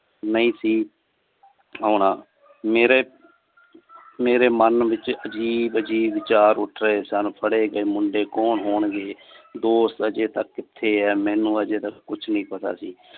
ਨਹੀਂ ਸੀ ਹੋਣਾ ਮੇਰੇ ਮੇਰੇ ਮਨ ਵਿੱਚ ਅਜੀਬ ਅਜੀਬ ਵਿਚਾਰ ਉੱਠ ਰਹੇ ਸਨ। ਫੜੇ ਗਏ ਮੁੰਡੇ ਕੌਣ ਹੋਣਗੇ ਦੋਸਤ ਹਜੇ ਤੱਕ ਕਿਥੇ ਆ ਮੇਨੂ ਅਜੇ ਕੁਛ ਨਹੀਂ ਪਤਾ ਸੀ।